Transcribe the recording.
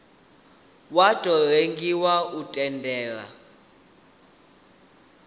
wa tou rengiwa u tendela